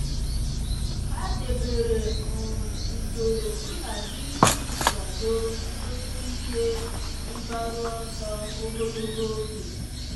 há dèbèrè um usoro nhazi iji kwàdòọ́ ọtụ́tụ́ ihe mgbaru ọsọ ogologo oge.